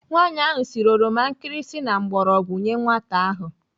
Nwaanyi ahụ siri oroma nkirisi na mgbọrọgwụ nyee nwata ahụ.